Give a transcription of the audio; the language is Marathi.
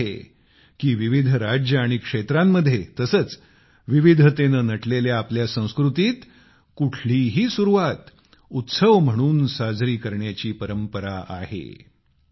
हेच कारण आहे कि विविध राज्ये आणि क्षेत्रांमध्ये तसेच विविधतेने नटलेल्या आपल्या संस्कृतीत कुठलीही सुरुवात उत्सव म्हणून साजरी करण्याची परंपरा आहे